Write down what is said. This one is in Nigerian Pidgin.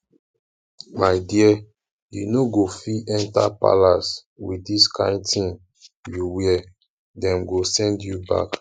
my dear you no go fit enter palace with dis kyn thing you wear dem go send you back